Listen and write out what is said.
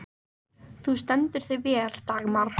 Þú stendur þig vel, Dagmar!